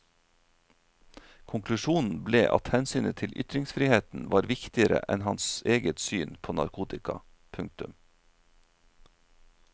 Konklusjonen ble at hensynet til ytringsfriheten var viktigere enn hans eget syn på narkotika. punktum